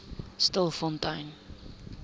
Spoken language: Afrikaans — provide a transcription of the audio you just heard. stilfontein